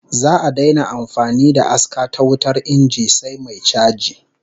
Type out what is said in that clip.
Za'a daina amfani da aska ta wutar inji sai mai chaji